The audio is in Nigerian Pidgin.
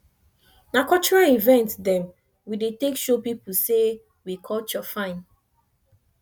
na cultural event dem we dey take show pipu sey we culture fine